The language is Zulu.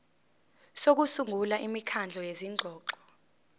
sokusungula imikhandlu yezingxoxo